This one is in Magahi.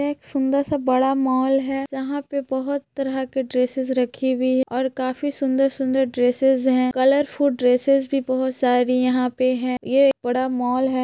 एक सुंदर सा बड़ा मॉल है यहां पे बहोत तरह के ड्रेसेस रखे हुए है और काफी सुंदर सुंदर ड्रेसेस है कलरफूल ड्रेसेस भी बहोत सारी यहां पे है ये बड़ा मॉल है।